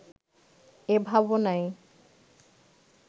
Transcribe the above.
এ ভাবনাই